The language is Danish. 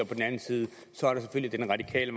midten radikale